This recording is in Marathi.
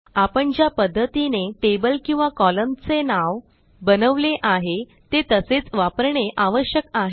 आपण ज्या पध्दतीने टेबल किंवा कोलम्न चे नाव बनवले आहे ते तसेच वापरणे आवश्यक आहे